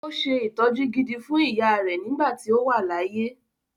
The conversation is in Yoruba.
Ó se ìtọ́jú gidi fún ìyáà rẹ̀ nígbà tí ó wà láyé.